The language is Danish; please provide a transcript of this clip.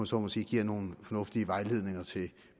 så må sige giver nogle fornuftige vejledninger til